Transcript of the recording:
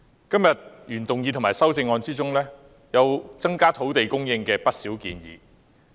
今天的原議案和修正案就增加土地供應提出不少建議。